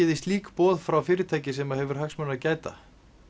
þið slík boð frá fyrirtæki sem hefur hagsmuna að gæta